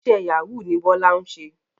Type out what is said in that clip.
Iṣẹ́ Yahoo ni Bọ́lá ń ṣe